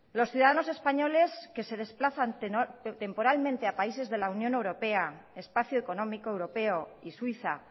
los ciudadanos españoles que se desplazan temporalmente a países de la unión europea espacio económico europeo y suiza